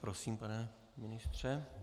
Prosím, pane ministře.